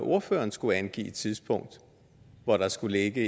ordføreren skulle angive et tidspunkt hvor der skulle ligge